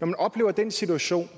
når man oplever den situation